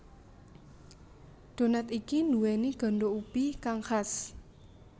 Donat iki nduwèni ganda ubi kang khas